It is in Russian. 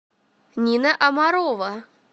нина амарова